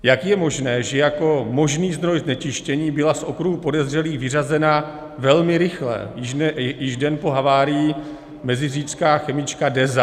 Jak je možné, že jako možný zdroj znečištění byla z okruhu podezřelých vyřazena velmi rychle, již den po havárii, meziříčská chemička Deza?